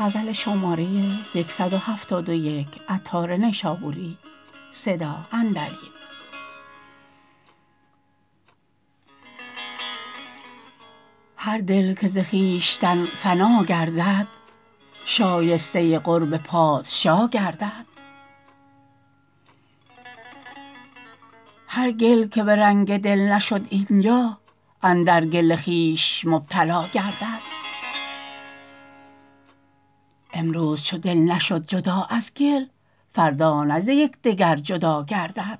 هر دل که ز خویشتن فنا گردد شایسته قرب پادشا گردد هر گل که به رنگ دل نشد اینجا اندر گل خویش مبتلا گردد امروز چو دل نشد جدا از گل فردا نه ز یکدگر جدا گردد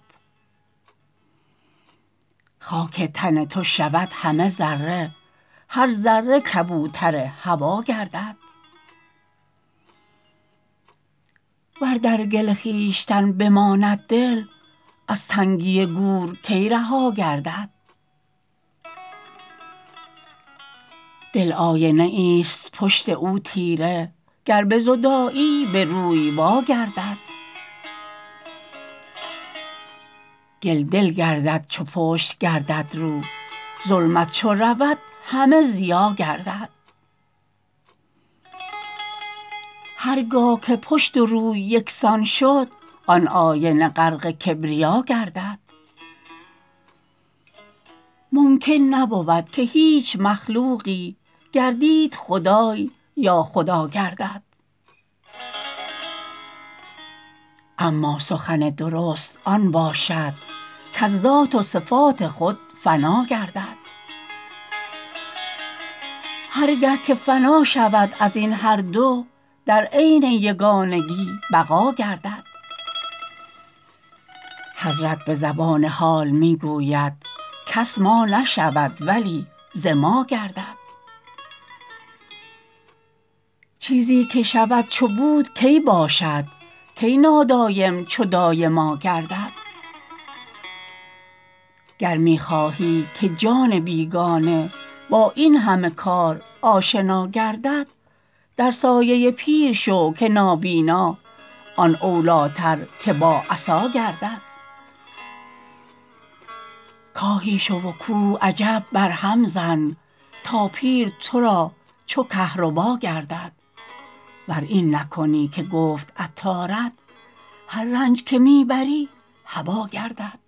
خاک تن تو شود همه ذره هر ذره کبوتر هوا گردد ور در گل خویشتن بماند دل از تنگی گور کی رها گردد دل آینه ای است پشت او تیره گر بزدایی بروی وا گردد گل دل گردد چو پشت گردد رو ظلمت چو رود همه ضیا گردد هرگاه که پشت و روی یکسان شد آن آینه غرق کبریا گردد ممکن نبود که هیچ مخلوقی گردید خدای یا خدا گردد اما سخن درست آن باشد کز ذات و صفات خود فنا گردد هرگه که فنا شود ازین هر دو در عین یگانگی بقا گردد حضرت به زبان حال می گوید کس ما نشود ولی ز ما گردد چیزی که شود چو بود کی باشد کی نادایم چو دایما گردد گر می خواهی که جان بیگانه با این همه کار آشنا گردد در سایه پیر شو که نابینا آن اولیتر که با عصا گردد کاهی شو و کوه عجب بر هم زن تا پیر تو را چو کهربا گردد ور این نکنی که گفت عطارت هر رنج که می بری هبا گردد